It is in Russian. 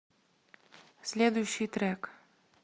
следующий трек